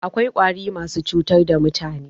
Akwai Ƙwari masu cutar da mutane